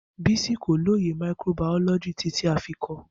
Bisi ko loye microbiology titi a fi kọ ọ